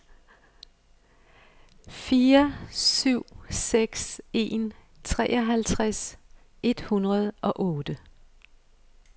fire syv seks en treoghalvtreds et hundrede og otte